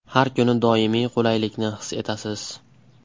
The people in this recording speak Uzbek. Har kuni doimiy qulaylikni his etasiz.